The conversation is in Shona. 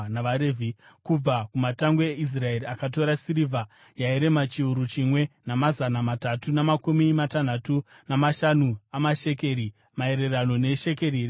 Kubva kumatangwe eIsraeri akatora sirivha yairema chiuru chimwe, namazana matatu namakumi matanhatu namashanu amashekeri , maererano neshekeri renzvimbo tsvene.